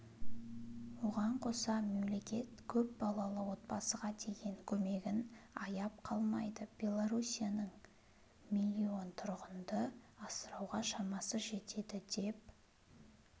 оған қоса мемлекет көпбалалы отбасыға деген көмегін аяп қалмайды белоруссияның миллион тұрғынды асырауға шамасы жетеді деп